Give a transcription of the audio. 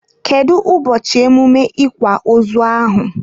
Kedu ụbọchị emume ikwa ozu ahụ?